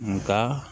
Nga